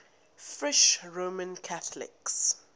french roman catholics